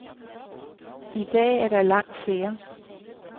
I dag er der langt flere.